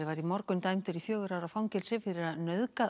morgun dæmdur í fjögurra ára fangelsi fyrir að nauðga